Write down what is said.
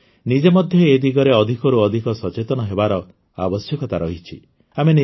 ଆମେ ନିଜେ ମଧ୍ୟ ଏ ଦିଗରେ ଅଧିକରୁ ଅଧିକ ସଚେତନ ହେବାର ଆବଶ୍ୟକତା ରହିଛି